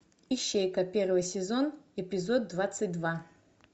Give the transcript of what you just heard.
ищейка первый сезон эпизод двадцать два